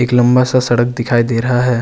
एक लम्बा सा सड़क दिखाई दे रहा है।